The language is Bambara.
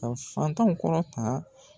Ka fantanw kɔrɔta